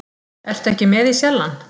Ertu ekki með í Sjallann?